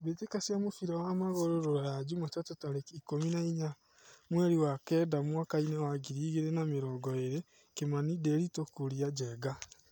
mbĩtĩka cia mũbira wa magũrũ Ruraya Jumatatu tarĩki ikũmi na inya mweri wa Kenda mwakainĩ wa ngiri igĩrĩ na mĩrongo ĩrĩ: Kimani, Ndiritu, Kuria, Njenga.